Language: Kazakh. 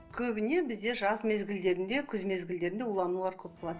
көбіне бізде жаз мезгілдерінде күз мезгілдерінде уланулар көп болады